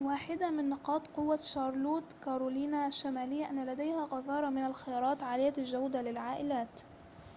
واحدة من نقاط قوة شارلوت كارولاينا الشمالية أن لديها غزارة من الخيارات عالية الجودة للعائلات